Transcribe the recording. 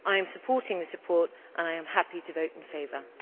I am supporting this report and I am happy to vote in favour.